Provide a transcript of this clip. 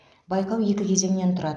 байқау екі кезеңнен тұрады